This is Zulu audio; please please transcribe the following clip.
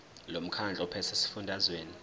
lomkhandlu ophethe esifundazweni